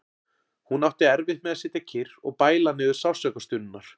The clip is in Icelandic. Hún átti erfitt með að sitja kyrr og bæla niður sársaukastunurnar.